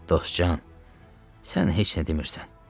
Dostcan, sən heç nə demirsən.